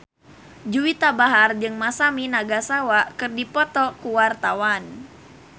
Juwita Bahar jeung Masami Nagasawa keur dipoto ku wartawan